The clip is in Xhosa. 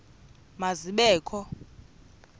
ma zibe kho